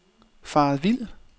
faret vild